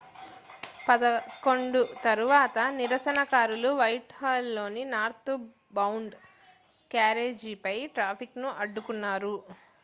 11:00 తరువాత నిరసనకారులు వైట్హాల్లోని నార్త్బౌండ్ క్యారేజీపై ట్రాఫిక్ను అడ్డుకున్నారు